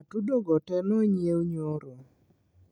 Atudo go tee nonyiew nyoro